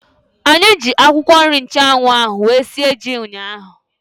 Anyị ji akwụkwọ nri nchanwu ahu wee sie ji ụnyaahụ